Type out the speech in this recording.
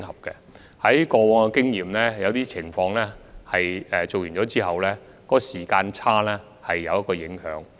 根據過往經驗，在某些情況下，這對完成研究的時間差距會有一定影響。